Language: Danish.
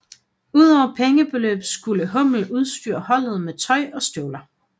Udover pengebeløb skulle hummel udstyre holdet med tøj og støvler